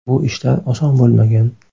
Bu ishlar oson bo‘lmagan.